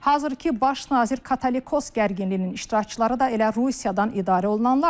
Hazırkı baş nazir Katolikos gərginliyinin iştirakçıları da elə Rusiyadan idarə olunanlardır.